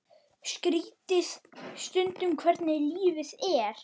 Skrítið stundum hvernig lífið er.